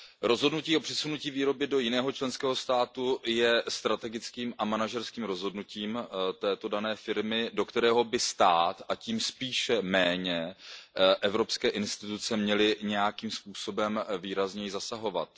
Rozhodnutí o přesunutí výroby do jiného členského státu je strategickým a manažerským rozhodnutím této dané firmy, do kterého by stát, a tím spíše evropské instituce, neměly nějakým způsobem výrazněji zasahovat.